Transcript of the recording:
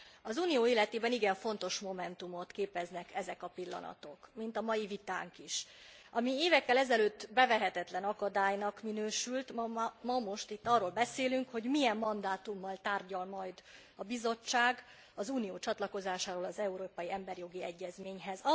Az Unió életében igen fontos momentumot képeznek ezek a pillanatok, mint a mai vitánk is. Ami évekkel ezelőtt bevehetetlen akadálynak minősült, ma most itt arról beszélünk, hogy milyen mandátummal tárgyal majd a Bizottság az Unió csatlakozásáról az európai emberi jogi egyezményhez.